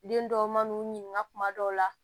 Den dɔw man n'u ɲininka kuma dɔw la